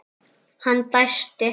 Hann dæsti.